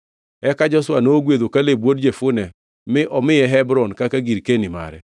Eka Joshua nogwedho Kaleb wuod Jefune mi omiye Hebron kaka girkeni mare.